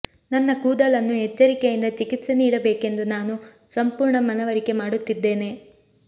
ನನ್ನ ಕೂದಲನ್ನು ಎಚ್ಚರಿಕೆಯಿಂದ ಚಿಕಿತ್ಸೆ ನೀಡಬೇಕೆಂದು ನಾನು ಸಂಪೂರ್ಣ ಮನವರಿಕೆ ಮಾಡುತ್ತಿದ್ದೇನೆ